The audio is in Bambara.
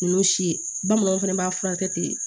N y'o si ye bamananw fɛnɛ b'a furakɛ ten